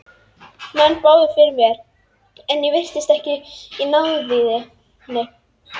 Menn báðu fyrir mér en ég virtist ekki í náðinni.